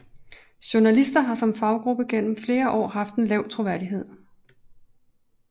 Journalister har som faggruppe gennem flere år haft en lav troværdighed